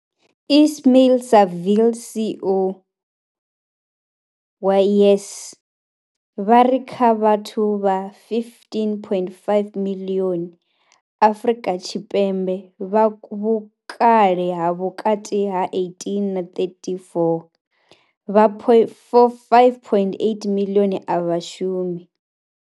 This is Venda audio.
Ismail-Saville CEO wa YES, vha ri kha vhathu vha 15.5 miḽioni Afrika Tshipembe vha vhukale ha vhukati ha 18 na 34, vha 5.8 miḽioni a vha shumi.